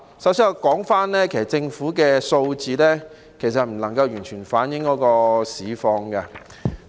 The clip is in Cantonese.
首先我想指出，政府的數字不能夠完全反映市況。